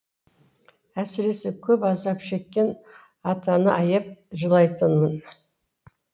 әсіресе көп азап шеккен атаны аяп жылайтын